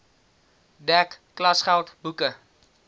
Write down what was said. dek klasgeld boeke